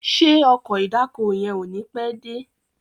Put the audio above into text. Ṣe Ọkọ̀ ìdákoní yén o ní pé dé?